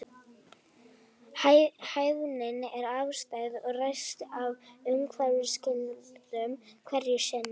Hæfnin er afstæð og ræðst af umhverfisskilyrðum hverju sinni.